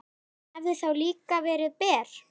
Hann hefði þá líka verið ber.